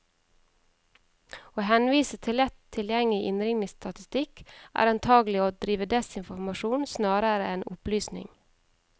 Å henvise til lett tilgjengelig innringningsstatistikk, er antagelig å drive desinformasjon snarere enn opplysning.